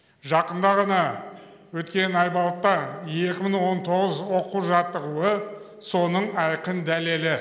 жақында ғана өткен айбалта екі мың он тоғыз оқу жаттығуы соның айқын дәлелі